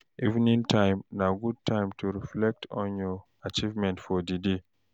Evening time na good time to reflect on your achievement for di day.